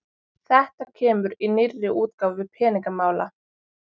Þetta kemur í nýrri útgáfu Peningamála